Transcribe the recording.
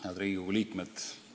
Head Riigikogu liikmed!